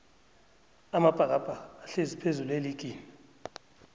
amabhakabhaka ahlezi phezullu eligini